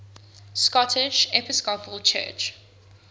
scottish episcopal church